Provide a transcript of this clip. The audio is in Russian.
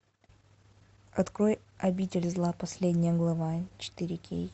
открой обитель зла последняя глава четыре кей